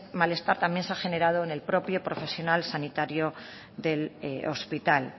malestar también se ha generado en el propio profesional sanitario del hospital